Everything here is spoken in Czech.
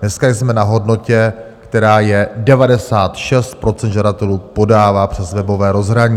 Dneska jsme na hodnotě, která je: 96 % žadatelů podává přes webové rozhraní.